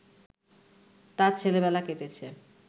তাঁর ছেলেবেলা কেটেছে